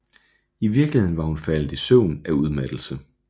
I virkeligheden var hun faldet i søvn af udmattelse